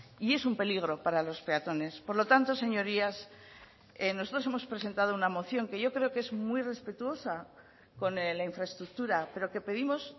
y es un peligro para los peatones por lo tanto señorías nosotros hemos presentado una moción que yo creo que es muy respetuosa con la infraestructura pero que pedimos